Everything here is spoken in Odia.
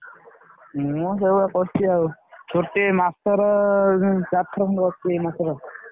ମୁଁ ସେଇଭଳିଆ କରିଛି ଆଉ ଗୋଟେ ମାସର ଚାରି ଥର ଭଳିଆ ନଥିବୀ ମାସରେ ଆଉ।